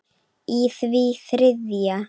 í því þriðja.